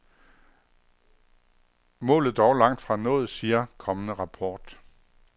Målet dog langtfra nået, siger kommende rapport.